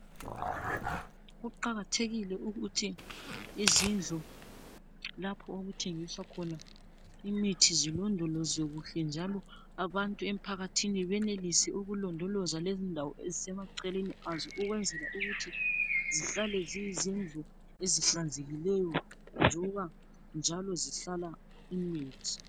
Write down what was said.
Kuqakathekile ukuthi izindlu lapho okuthengiswa khona imithi zilodolozwe kuhle njalo abantu emphakathini benelise ukulodoloza lezindawo ezisemaceleni azo ukwenzela ukuthi zihlale ziyizindlu ezihlanzekileyo njengoba njalo zihlala imithi